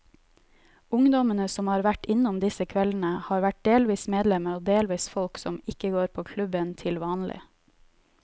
Ungdommene som har vært innom disse kveldene, har vært delvis medlemmer og delvis folk som ikke går på klubben til vanlig.